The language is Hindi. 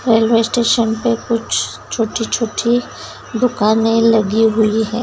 रेलवे स्टेशन पे कुछ छोटी-छोटी दुकानें लगी हुई है।